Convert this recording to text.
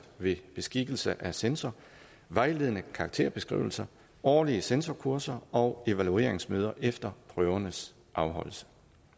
ved beskikkelse af censor vejledende karakterbeskrivelser årlige censorkurser og evalueringsmøder efter prøvernes afholdelse